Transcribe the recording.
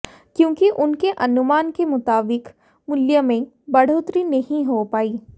क्योंकि उनके अनुमान के मुताबिक मूल्य में बढ़ोतरी नहीं हो पायी